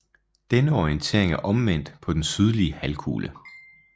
Denne orientering er omvendt på den sydlige halvkugle